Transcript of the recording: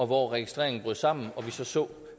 hvor registreringen brød sammen og vi så så